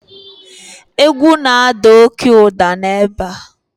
egwu na-ada oke ụda ebe a